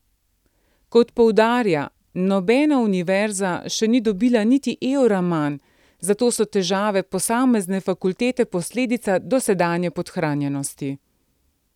Kot poudarja, nobena univerza še ni dobila niti evra manj, zato so težave posamezne fakultete posledica dosedanje podhranjenosti.